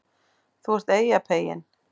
ÞÚ ERT EYJAPEYINN